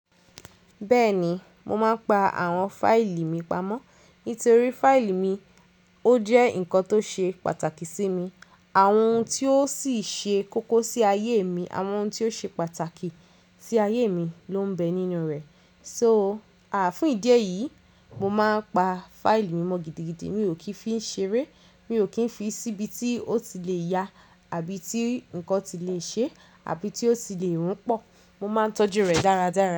Bẹ́ẹ̀ni, mo máa ń pa àwọn fáìlì mi pamọ́. Nítorí fáìlì mi ó jẹ́ nǹkan tó ṣe pàtàkì sí mi. Àwọn ohun tí ó sì ṣe kókó sí ayé mi, àwọn ohun tí ó ṣe pàtàkì sí ayé mi ló ń bẹ nínú rẹ̀. So, fún ìdí èyí, mo máa ń pa fáìlì mi mọ́ gidigidi. Mi ò kì í fi ń ṣeré, mi ò kì n fi síbi tí ó ti le ya àbí tí nǹkan ti le ṣe àbí tí ó ti le rún pọ̀. Mo máa ń tọ́jú rẹ̀ dáradára.